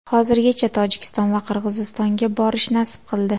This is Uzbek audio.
Hozirgacha Tojikiston va Qirg‘izistonga borish nasib qildi.